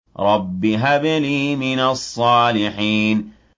رَبِّ هَبْ لِي مِنَ الصَّالِحِينَ